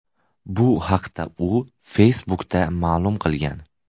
Bu haqda u Facebook’da ma’lum qilgan .